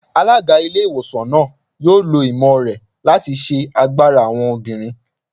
Alága ilé ìwòsàn náà yóò lò ìmọ̀ rẹ̀ láti ṣe agbára àwọn obìnrin